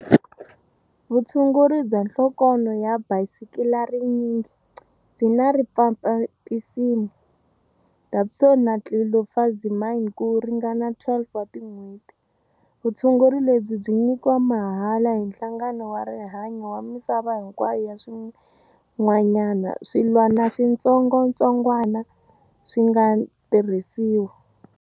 Vutshunguri bya nhlokonho ya bakisilarinyingi byi na rifampisini, dapsone na tlilofazimine ku ringana 12 wa tin'hweti. Vutshunguri lebyi byi nyikiwa mahala hi Nhlangano wa Rihanyu wa Misava hinkwayo ya swin'wanyana swilwanaswitsongwatsongwana swi nga tirhisiwa.